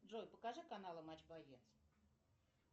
джой покажи каналы матч боец